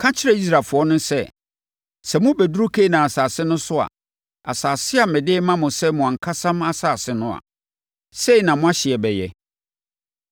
“Ka kyerɛ Israelfoɔ no sɛ, ‘Sɛ mobɛduru Kanaan asase no so a, asase a mede rema mo sɛ mo ankasa asase no a, sɛi na mo ahyeɛ bɛyɛ: